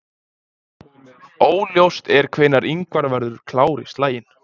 Óljóst er hvenær Ingvar verður klár í slaginn.